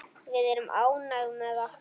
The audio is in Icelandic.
Við erum ánægð með okkar.